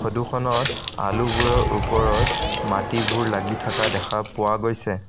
Photo খনত আলুবোৰৰ ওপৰত মাটিবোৰ লাগি থাকা দেখা পোৱা গৈছে।